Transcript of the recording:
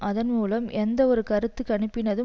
அதன் மூலம் எந்த ஒரு கருத்து கணிப்பினதும்